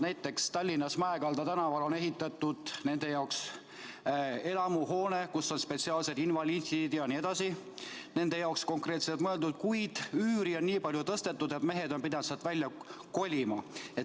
Näiteks Tallinnas Mäekalda tänaval on ehitatud nende jaoks elamuhoone, kus on spetsiaalsed invaliftid jne, kuid üüri on nii palju tõstetud, et mehed on pidanud sealt välja kolima.